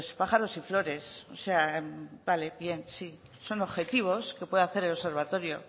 pájaros y flores o sea vale bien sí son objetivos que pueda hacer el observatorio